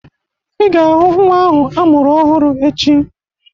Ị ga-ahụ nnwa ahụ amụrụ ọhụrụ echi